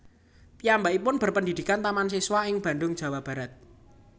Piyambakipun berpendidikan Taman Siswa ing Bandung Jawa Barat